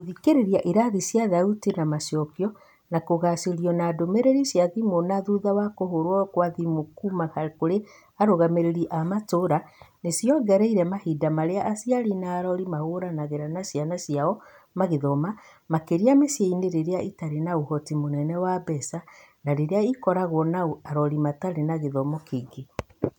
Gũthikĩrĩria irathi cia thauti ya macokio na kũgacĩrio na ndũmĩrĩri cia thimu cia thutha kũhũrwo gwa thimũ kuuma kũrĩ arũgamĩrĩri a matũũra nĩ ciongereire mahinda marĩa aciari na arori mahũthagĩra na ciana ciao magithoma, makĩria mĩciĩ-inĩ ĩrĩa ĩtarĩ na ũhoti mũnene wa mbeca na ĩrĩa ĩkoragwo na arori matarĩ na gĩthomo kĩingĩ.